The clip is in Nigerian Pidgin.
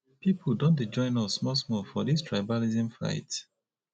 pipu don dey join us small small for dis tribalism fight